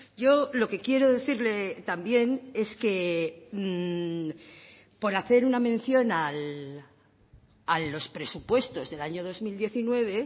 yo lo que quiero decirle también es que por hacer una mención a los presupuestos del año dos mil diecinueve